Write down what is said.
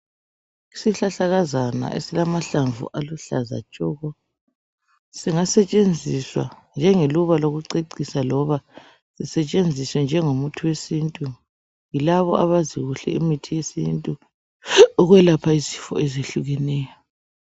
Isihlahlakazana esilamahlamvu aluhlaza tshoko singasetshenziswa njengeluba lokucecisa loba lisetshenziswe njengomuthi wesintu yilabo abazikuhle imithi yesintu ukwelapha izifo ezehlukeneyo